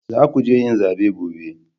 Za ku je yin zabe gobe